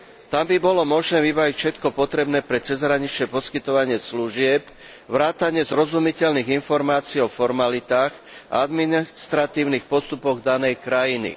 Tam by bolo možné vybaviť všetko potrebné pre cezhraničné poskytovanie služieb vrátane zrozumiteľných informácií o formalitách a administratívnych postupoch danej krajiny.